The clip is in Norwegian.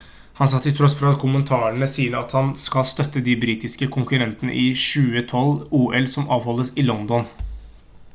han sa til tross for kommentarene sine at han skal støtte de britiske konkurrentene i 2012-ol som avholdes i london